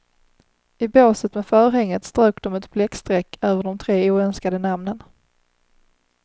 I båset med förhänget strök de ett bläckstreck över de tre oönskade namnen.